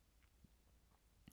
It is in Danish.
Faglitteratur